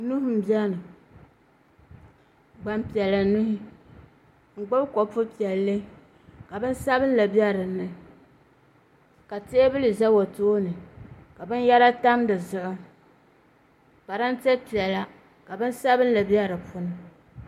Nuhi n biɛni gbanpiɛla nuhi n gbubi kopu piɛlli ka bin sabinli bɛ dinni ka teenuli ʒɛ o tooni ka binyɛra tam dizuɣu parantɛ piɛla ka bin sabinli bɛ di puuni